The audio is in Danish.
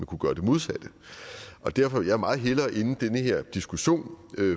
kunne gøre det modsatte derfor vil jeg meget hellere ende den her diskussion